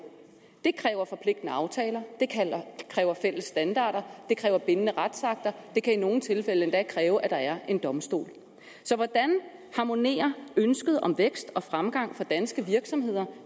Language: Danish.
det kræver forpligtende aftaler det kræver fælles standarder og det kræver bindende retsakter det kan i nogle tilfælde endda kræve at der er en domstol så hvordan harmonerer ønsket om vækst og fremgang for danske virksomheder